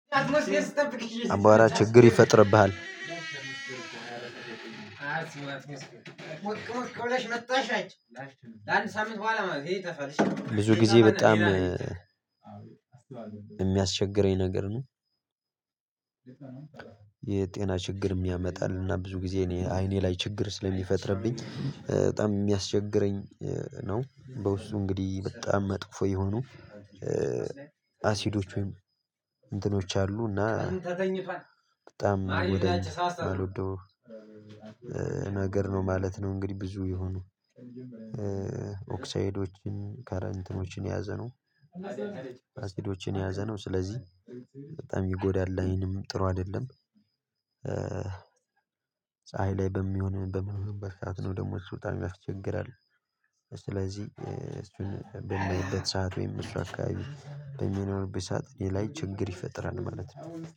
አምቧራ ችግር ይፈጥርብሃል መጣሽ ናት። ለአንድ ሳምንት በኋላ መብሄ ተፈለሽ ብዙ ጊዜ በጣም የሚያስቸግረኝ ነገር ነው። የጤና ችግር ያመጣል እና ብዙ ጊዜ እኔ አይኔ ላይ ችግር ስለሚፈጥርብኝ በጣም የሚያስቸግረኝ ነው። በውስጡ እንግዲህ በጣም መጥፎ የሆኑ አሲዶች ወይም እንትኖች አሉና ተገኝቷል በጣም አልወደውም። ነገር ነው ማለት ነው። እንግዲህ ብዙ የሆኑ ኦክሳይዶችን ከረንትኖችን የያዘ ነው። አሲዶችን የያዘ ነው። ስለዚህ በጣም ይጎዳል ላይንም ጥሩ አይደለም። ፀሀይ ላይ በሚሆን በሚንሆንበት ሰዓት ነው ደግሞ እሱ በጣም ያስቸግራል። ስለዚህ እሱን በመሄድበት ሰዓት ወይም እሰ አህከባቢ በሚኖርበት ሰዓት የላይ ችግር ይፈጥራል ማለት ነው